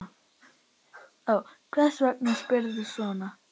Hvers vegna spyrðu svona?